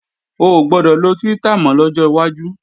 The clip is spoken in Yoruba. Ò gbọdọ̀ lo Twitter mọ́ lọ́jọ́ wájú!